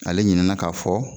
Ale ɲinɛna ka fɔ